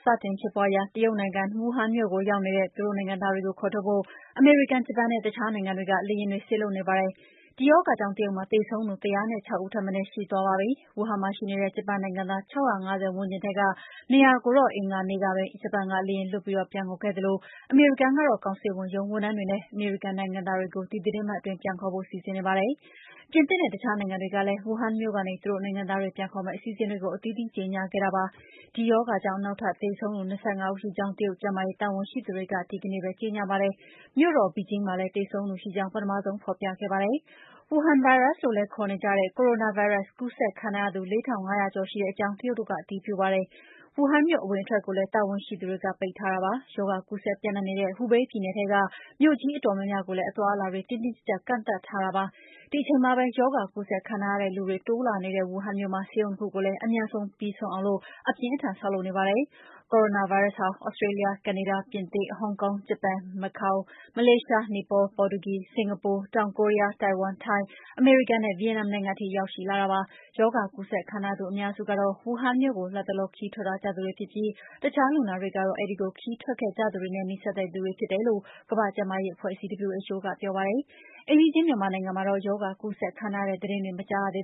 စတင်ဖြစ်ပွားရာ တရုတ်နိုင်ငံ၊ ဝူဟန်မြို့ကိုရောက်နေတဲ့ သူတို့နိုင်ငံသားတွေကို ခေါ်ထုတ်ဖို့ အမေရိကန်၊ ဂျပန်နဲ့ အခြားနိုင်ငံတွေက လေယာဉ်တွေ စေလွှတ်နေကြပါတယ်။ ဒီရောဂါကြောင့်တရုတ်မှာ သေဆုံးသူ ၁၀၆ ဦးထက်မနည်း ရှိသွားပါပြီ။ ဝူဟန်မှာရှိနေတဲ့ ဂျပန်နိုင်ငံသား ၆၅၀ ဝန်းကျင်ထဲက ၂၀၀ ကို အင်္ဂါနေ့ပဲ ဂျပန်ကလေယာဉ်လွှတ်ပြီး ပြန်ခေါ်ခဲ့သလို အမေရိကန်ကတော့ ကောင်စစ်ဝန်ရုံးဝန်ထမ်းတွေနဲ့ အမေရိကန်နိုင်ငံသားတွေကို ဒီသီတင်းပတ်အတွင်း ပြန်ခေါ်ဖို့ စီစဉ်နေပါတယ်။ ပြင်သစ်နဲ့ အခြားနိုင်ငံတွေကလည်း ဝူဟန်မြို့ကနေ သူတို့နိုင်ငံသားတွေပြန်ခေါ်မယ့် အစီအစဉ်တွေကို အသီးသီးကြေညာခဲ့ကြပါတယ်။ ဒီရောဂါကြောင့် နောက်ထပ်သေဆုံးသူ ၂၅ ဦးရှိကြောင်း တရုတ်ကျန်းမာရေးတာဝန်ရှိသူတွေက အင်္ဂါနေ့မှာ ကြေညာပါတယ်။ မြို့တော် Beijing မှာလည်းပ ထမဆုံးသေဆုံးသူရှိကြောင်း ဖော်ပြခဲ့တာပါ။ ဝူဟန်ဗိုင်းရပ်စ်လို့လည်းခေါ်နေကြတဲ့ Coranavirus ကူးစက်ခံထားရသူ ၄၅၀၀ ကျော်ရှိကြောင်းလည်း တရုတ်တို့က အတည်ပြုပါတယ်။ ဝူဟန်မြို့အဝင်အထွက်ကို လည်းတာဝန်ရှိသူတွေပိတ်ထားပါတယ်။ ရောဂါကူးစက်ပြန့်နှံ့နေတဲ့ Hubei ပြည်နယ်ထဲက မြို့ကြီးအတော်များများကိုလည်း အသွားအလာတွေ တင်းတင်းကြပ်ကြပ် ကန့်သတ်ထားတာပါ။ ဒီအချိန်မှာပဲ ရောဂါကူးစက်ခံထားရတဲ့လူတွေ တိုးလာနေတဲ့ ဝူဟန်မြို့မှာ ဆေးရုံ ၂ ခုကိုလည်း အမြန်ပြီးအောင် အပြင်းအထန် ဆောက်လုပ်နေကြပါတယ်။ Coranavirus ဟာ Australia, Canada, ပြင်သစ်, Hong Kong, Japan, Macao, Malaysia, Nepal, Portugal, Singapore, တောင် Korea, Taiwan, ထိုင်း၊ အမေရိကန်နဲ့ Vietnam နိုင်ငံထိရောက်ရှိလာတာဖြစ်ပါတယ်။ ရောဂါကူးစက်ခံထားရသူအများစုကတော့ ဝူဟန်မြို့ကို လတ်တလော ခရီးထွက်ထားကြသူတွေဖြစ်ပြီး အခြာလူနာတွေကတော့ အဲဒီကိုခရီးထွက်ခဲ့ကြသူတွေနဲ့ နီးစပ်တဲ့လူတွေဖြစ်တယ်လို့ ကမ္ဘာ့ကျန်းမာရေးအဖွဲ့အစည်း WHO ကပြောပါတယ်။ အိမ်နီးချင်းမြန်မာနိုင်ငံမှာတော့ ရောဂါကူးစက်ခံထားရတဲ့ သတင်းမကြားရသေး